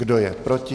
Kdo je proti?